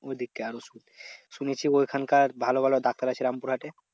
ওইদিককার ওষুধ শুনেছি ওখানকার ভালো ভালো ডাক্তার আছে রামপুরহাটে?